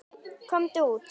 Komdu út!